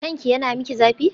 Kanki yana miki zafi?